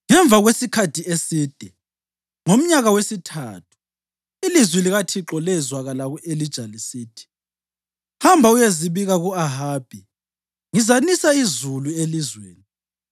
Ngemva kwesikhathi eside, ngomnyaka wesithathu, ilizwi likaThixo lezwakala ku-Elija lisithi: “Hamba uyezibika ku-Ahabi, ngizanisa izulu elizweni.”